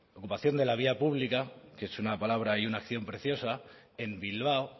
ocupación de la vía pública que es una palabra y una acción preciosa en bilbao